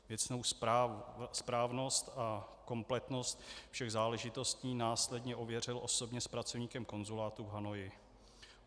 Věcnou správnost a kompletnost všech záležitostí následně ověřil osobně s pracovníkem konzulátu v Hanoji.